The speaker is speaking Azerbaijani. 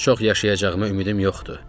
Çox yaşayacağımı ümidim yoxdur.